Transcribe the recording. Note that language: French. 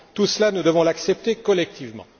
Tout cela, nous devons l'accepter collectivement.